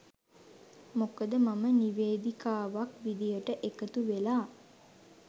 මොකද මම නිවේදිකාවක් විදිහට එකතුවෙලා